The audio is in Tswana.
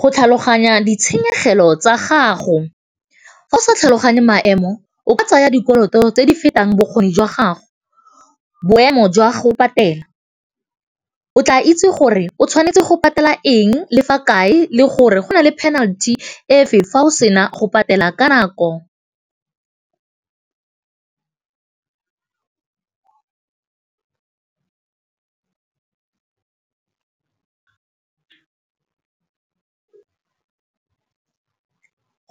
Go tlhaloganya ditshenyegelo tsa gago, fa o sa tlhaloganye maemo o ka tsaya dikoloto tse di fetang bokgoni jwa gago. Boemo jwa go patela, o tla itse gore o tshwanetse go patela eng le fa kae le gore go na le penalty efe fa o sena go patela ka nako.